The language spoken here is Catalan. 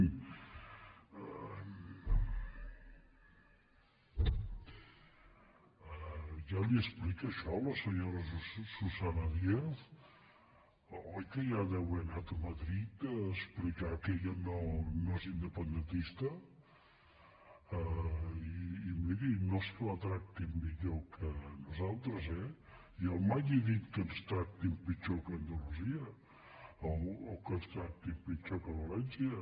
ja li ho explica això a la senyora susa·na díaz oi que ja deu haver anat a madrid a explicar que ella no és independentista i miri no és que la tractin millor que a nosaltres eh jo mai he dit que ens tractin pitjor que a andalusia o que ens tractin pitjor que a valència